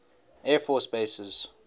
air force bases